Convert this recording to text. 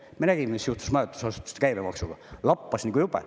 Me nägime, mis juhtus majutusasutuste käibemaksuga – lappas nagu jube.